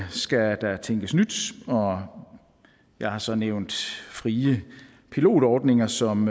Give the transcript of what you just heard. skal der tænkes nyt og jeg har så nævnt frie pilotordninger som